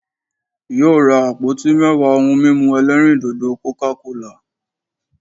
Yóò ra àpótí mẹ́wàá ohun mímu ẹlẹ́rìndòdò'coca cola'